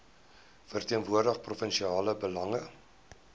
verteenwoordig provinsiale belange